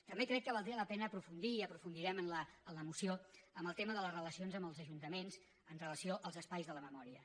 també crec que valdria la pena aprofundir i hi aprofundirem en la moció en el tema de les relacions amb els ajuntaments amb relació als espais de la memòria